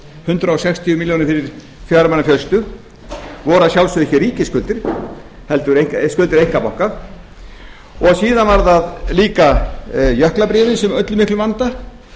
hundrað sextíu milljónir fyrir fjögra manna fjölskyldu voru að sjálfsögðu ekki ríkisskuldir heldur skuldir einkabanka síðan voru það líka jöklabréfin sem ollu miklum vanda